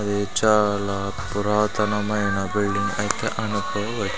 ఇది చాల పురాతనమైన బిల్డింగ్ పైకి అనుకువై.